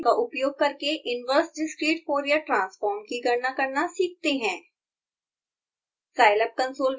अब fft का उपयोग करके इनवर्स डिस्क्रीट fourier ट्रांसफोर्म की गणना करना सीखते हैं